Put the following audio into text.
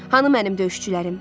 Hanı mənim döyüşçülərim?